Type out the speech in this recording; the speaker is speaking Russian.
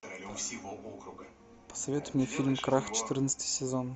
посоветуй мне фильм крах четырнадцатый сезон